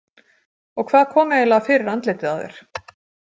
Og hvað kom eiginlega fyrir andlitið á þér?